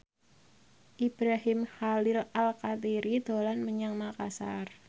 Ibrahim Khalil Alkatiri dolan menyang Makasar